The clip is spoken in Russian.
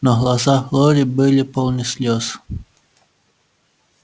но глаза глории были полны слез